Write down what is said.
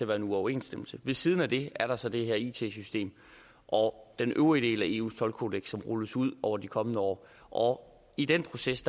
være en uoverensstemmelse ved siden af det er der så det her it system og den øvrige del af eus toldkodeks som rulles ud over de kommende år og i den proces